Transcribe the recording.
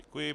Děkuji.